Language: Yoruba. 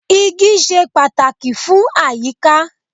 Igi ṣe pàtàkì fún àyíká.